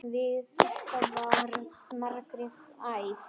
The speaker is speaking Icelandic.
Við þetta varð Margrét æf.